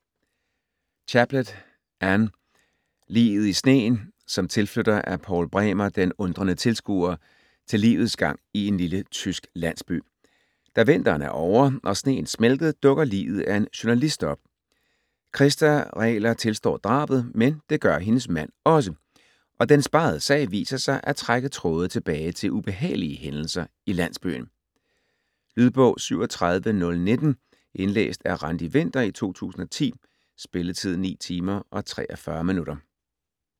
Chaplet, Anne: Liget i sneen Som tilflytter er Paul Bremer den undrende tilskuer til livets gang i en lille tysk landsby. Da vinteren er ovre og sneen smeltet, dukker liget af en journalist op. Krista Regler tilstår drabet, men det gør hendes mand også, og den spegede sag viser sig at trække tråde tilbage til ubehagelige hændelser i landsbyen. Lydbog 37019 Indlæst af Randi Winther, 2010. Spilletid: 9 timer, 43 minutter.